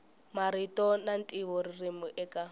marito na ntivo ririmi eka